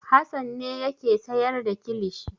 Hassan ne yake sayar da kilishi.